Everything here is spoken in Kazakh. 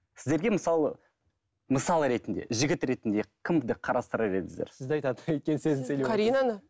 сіздерге мысалы мысалы ретінде жігіт ретінде кімді қарастырар едіңіздер сізді айтады өйткені